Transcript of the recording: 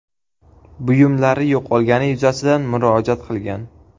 buyumlari yo‘qolgani yuzasidan murojaat qilgan.